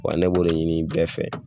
Wa ne b'o ɲini bɛɛ fɛ.